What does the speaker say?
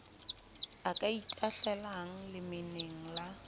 o ka itahlelang lemeneng la